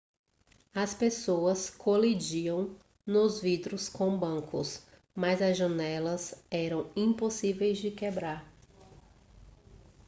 as pessoas colidiam nos vidros com bancos mas as janelas eram impossíveis de quebrar